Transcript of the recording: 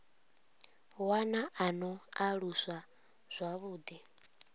wana a no aluswa zwavhuḓi